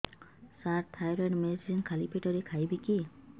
ସାର thyroid medicine ଖାଲି ପେଟରେ ଖାଇବି କି